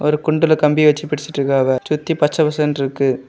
ஒரு குன்றுல கம்பி வச்சு பிடிச்சுட்ருக்காங்க சுத்தி பச்ச பசேன்னுற்கு.